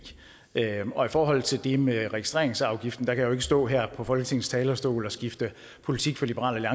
forhold til det med registreringsafgiften kan jeg jo ikke stå her på folketingets talerstol og skifte politik for liberal